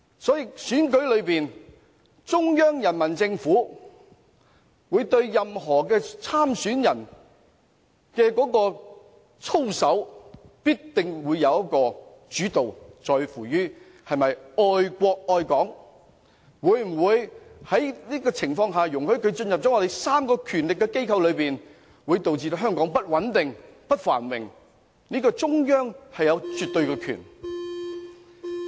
在特首選舉中，中央人民政府對所有候選人的操守必須保持主導，在乎他們是否愛國愛港，或會否因其進入權力機關而令香港變得不穩定、不繁榮；在這方面，中央有絕對權力。